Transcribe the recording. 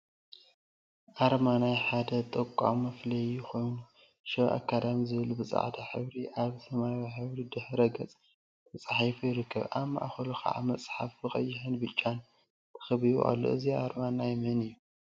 አርማ አርማ ናይ ሓደ ተቋም መፍለይ ኮይኑ፤ ሸባ አካዳሚ ዝብል ብፃዕዳ ሕብሪ አበ ሰማያዊ ሕብሪ ድሕረ ገፅ ተፃሒፉ ይርከብ፡፡ አብ ማእከሉ ከዓ መፅሓፍ ብቀይሕን ብብጫን ተከቢቡ አሎ፡፡ እዚ አርማ ናይ መን እዩ?